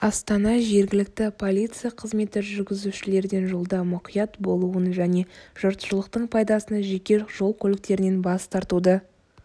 астана жергілікті полиция қызметі жүргізушілерден жолда мұқият болуын және жұртшылықтың пайдасына жеке жол көліктерінен бас тартуды